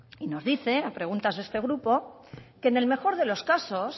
y nos dice a preguntas de este grupo que en el mejor de los casos